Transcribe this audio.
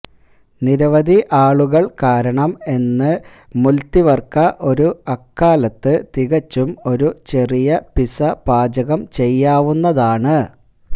നിരവധി ആളുകൾ കാരണം എന്ന് മുല്തിവര്ക ഒരു അക്കാലത്ത് തികച്ചും ഒരു ചെറിയ പിസ പാചകം ചെയ്യാവുന്നതാണ്